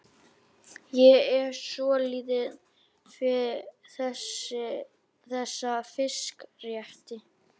Ég er svo lítið fyrir þessa fiskrétti.